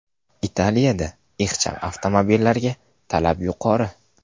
Italiyada ixcham avtomobillarga talab yuqori.